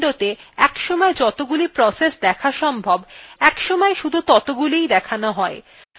আমরা আগেও দেখেছি যে more বাবহার করলে একটি windowতে একসময় যতগুলি processes দেখা সম্ভব একসময় শুধু ততগুলিই দেখানো হয়